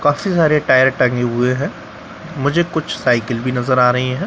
काफी सारे टायर टंगे हुए हैं मुझे कुछ साइकिल भी नजर आ रहे है ।